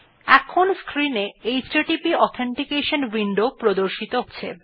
এখন স্ক্রিন এ HTTP authentication window প্রদর্শিত হচ্ছে